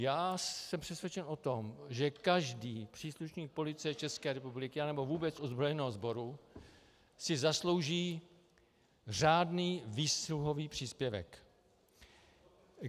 Já jsem přesvědčen o tom, že každý příslušník Policie České republiky nebo vůbec ozbrojeného sboru si zaslouží řádný výsluhový příspěvek.